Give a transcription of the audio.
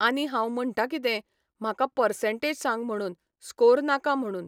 आनी हांव म्हणटा कितें म्हाका पसंर्टेज सांग म्हुणून, स्कोर नाका म्हुणून.